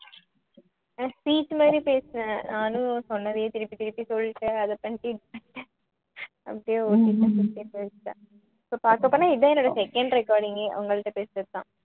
speech மாதிரி பேசுவேன் நானும் சொன்னதையே திருப்பித் திருப்பி சொல்ட்டு அத பண்ணிட்டு அப்படியே so பாக்க போனா இதான் என்னுடைய second reconding ஏ உங்கள்ட்ட பேசுறது தான்